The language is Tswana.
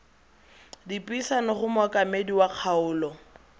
dipuisano go mookamedi wa kgaolo